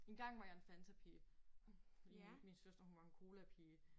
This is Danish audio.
Engang var jeg en fantapige. Fordi min søster hun var en colapige